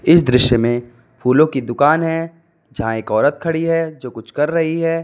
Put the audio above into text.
इस दृश्य में फूलों की दुकान है जहां एक औरत खड़ी है जो कुछ कर रही है।